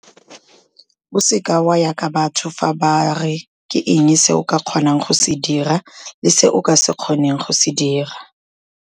O seke wa ya ka batho fa ba re ke eng se o ka kgonang go se dira le se o ka se kgoneng go se dira.